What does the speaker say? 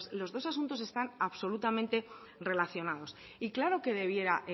los dos asuntos están absolutamente relacionados y claro que debiera